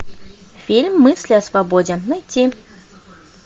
фильм мысли о свободе найти